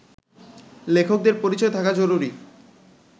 লেখকদের পরিচয় থাকা জরুরি